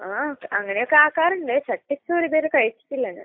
ആ. അങ്ങനെയൊക്കെ ആക്കാറുണ്ട്. ചട്ടിച്ചോറ് ഇത് വരെ കഴിച്ചിട്ടില്ല ഞാൻ.